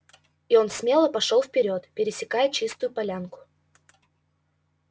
и он смело пошёл вперёд пересекая чистую полянку